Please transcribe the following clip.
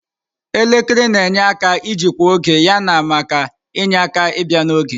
Elekere na-enyere aka ijikwa oge yana maka inye aka ibia n'oge.